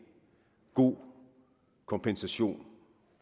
god kompensation